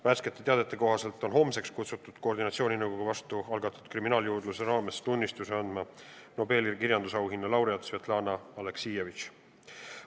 Värskete teadete kohaselt on homseks kutsutud koordinatsiooninõukogu vastu algatatud kriminaaljuurdluse raames tunnistusi andma Nobeli kirjandusauhinna laureaat Svetlana Aleksijevitš.